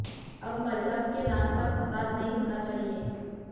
अब मजहब के नाम पर फसाद नहीं होना चाहिए